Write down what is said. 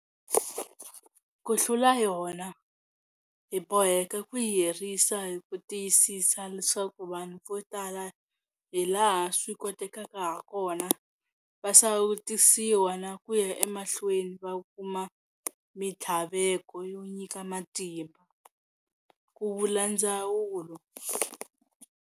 Ku hlula yona, hi boheka ku yi herisa hi ku tiyisisa leswaku vanhu vo tala hilaha swi kotekaka hakona va sawutisiwa na ku ya emahlweni va kuma mitlhavelo yo nyika matimba, ku vula ndzawulo.